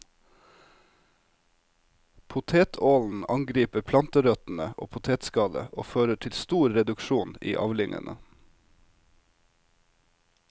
Potetålen angriper planterøttene og potetskallet og fører til stor reduksjon i avlingene.